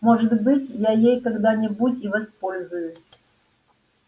может быть я ей когда-нибудь и воспользуюсь